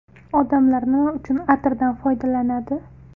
Odamlar nima uchun atirdan foydalanadi?